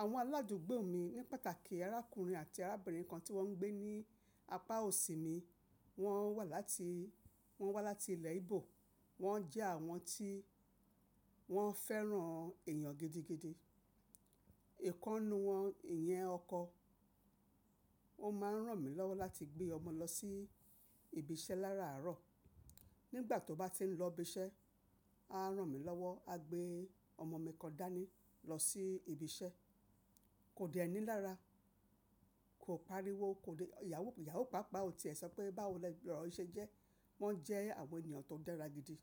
Àwọn aládúgbò mi ní pàtàkì arákùnrin àti arábìnrin kan tí wọ́n ń gbé ní apá òsì mi, wọ́n wá láti, wọ́n wá láti ilẹ̀ Igbo, wọ́n jẹ́ àwọn tí wọ́n fẹ́ràn èyàn gidigidi. Ìkọ́nu wọn ni yẹn ọkọ, ó máa ń ràn mí lọ́wọ́ láti gbé ọmọ lọ sí ibi iṣẹ́ lára àárọ̀. Nígbà tó bá ti ń lọ ibi iṣẹ́, á ràn mí lọ́wọ́, á gbé ọmọ mi kan dání lọ sí ibi iṣẹ́. Kò dẹ ni lára kò pariwo, kò di-- ìyàwó, ìyàwó pàápàá ò tí è sọ pé báwo lọ̀rọ̀ ṣe jẹ́. Wọ́n jẹ́ àwọn ènìyàn tó dára gidi.